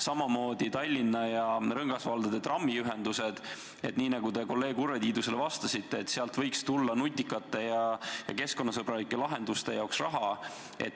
Samamoodi Tallinna ja rõngasvaldade trammiühendused – nii nagu te kolleeg Urve Tiidusele vastasite, sealt võiks tulla nutikate ja keskkonnasõbralike lahenduste jaoks raha.